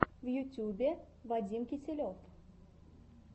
в ютюбе вадим киселев